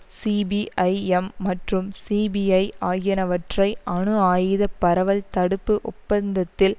CPIM மற்றும் CPI ஆகியனவற்றை அணு ஆயுத பரவல் தடுப்பு ஒப்பந்தத்தில்